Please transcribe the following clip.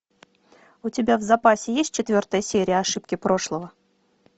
у тебя в запасе есть четвертая серия ошибки прошлого